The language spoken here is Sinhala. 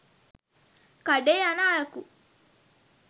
කඩේ යන අයකු